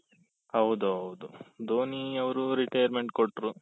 ಹೌದು ಹೌದು ಧೋನಿ ಅವರು retirement ಕೊಟ್ರು